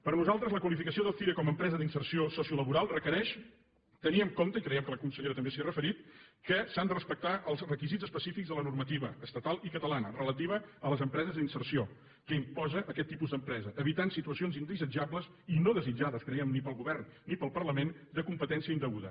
per nosaltres la qualificació del cire com a empresa d’inserció sociolaboral requereix tenir en compte i creiem que la consellera també s’hi ha referit que s’han de respectar els requisits específics de la normativa estatal i catalana relativa a les empreses d’inserció que imposa aquest tipus d’empresa evitant situacions indesitjables i no desitjades creiem ni pel govern ni pel parlament de competència indeguda